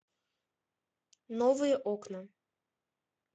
новые окна